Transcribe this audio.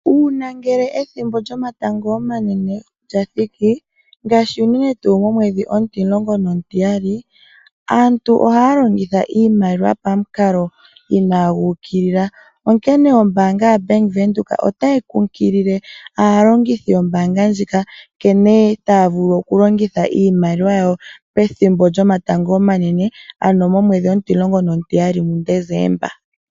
Uuna ethimbo lyomatango omanene lyathiki ngaashi unene tuu omwedhi 12, aantu ohaya longitha iimaliwa pamukalo inaagu ukulila, onkene ombaanga yaBank Windhoek otayi kumagidha aantu nkene taya longitha iimaliwa yawo pethimbo lyomatango omanene ,ano momwedhi 12 muDesemba.